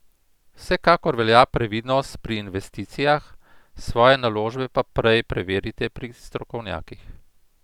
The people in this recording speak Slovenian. Vsekakor velja previdnost pri investicijah, svoje naložbe pa prej preverite pri strokovnjakih.